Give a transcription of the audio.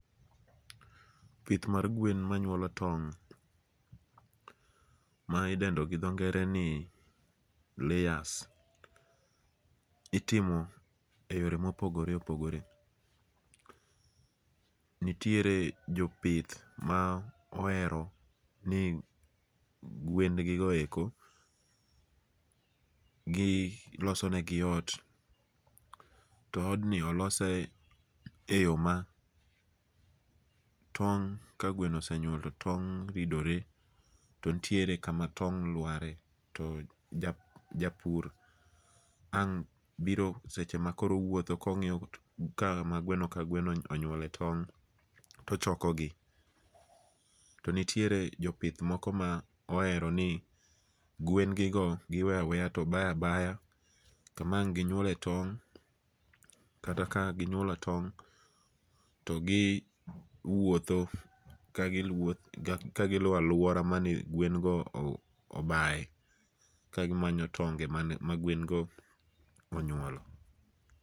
Pithmar gwen manyuolo tong ma idendo gi tho nge're ni layers, itimo e yore mopogore opogore, nitiere jopith ma ohero ni gwengigoeko gi losonegi ot , to odni olose e yo ma tong' ka gweno osenyuolo tong' to tong' ridore to nitiere kama tong' lware to japur kang' biro seche ma koro owutho kongi'yo kama gweno ka gweno onyuole tong' tochokogi, to nitiere jopith moko ma ohero ni gwengigo giweyo aweya to baya baya kama ang'ginyuole tong' kata ka ginyuolo tong' to gi wuotho ka giluwo ka giluo aluora mane gwen go obaye kagimanyo tonge magwengo onyuole.